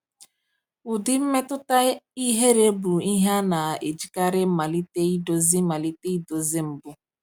Ụdị mmetụta ihere bụ ihe a na-ejikarị malite idozi malite idozi mbụ.